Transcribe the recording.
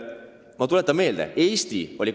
Ma tuletan üht asja meelde.